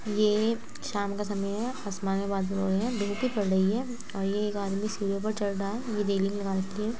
ये शाम का समय है आसमान मे बादल हो रहे है धूप भी पड़ रही है और ये एक आदमी सीढ़ियों पर चढ़ रहा है | ये रेलिंग लगा रखी है।